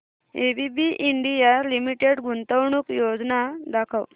ABB India limited गुंतवणूक योजना दाखव